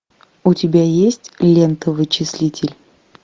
у тебя есть лента вычислитель